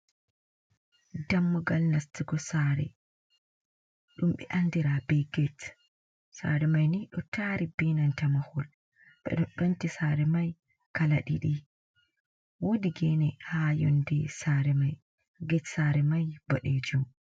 Dammugal nastugo sare ɗum ɓe andira bei get sare mai ni ɗo tari benanta mahol be do penti sare mai kala didi wuɗi gene ha yonɗe sare mai get sare ɓoɗejum.